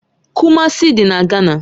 Kumasi dị na Gana